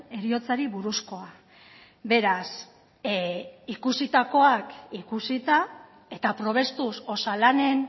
heriotzari buruzkoa beraz ikusitakoak ikusita eta probestuz osalanen